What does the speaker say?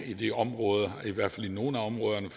i disse områder i hvert fald i nogle af områderne